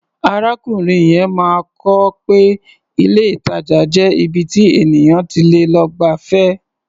Arákùnrin yẹn máa kọ́ pé ilé-ìtàjà jẹ́ ibi tí ènìyàn ti lè lọ gbafẹ́.